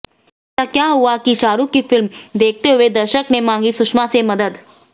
ऐसा क्या हुआ कि शाहरूख की फिल्म देखते हुए दर्शक ने मांगी सुषमा से मदद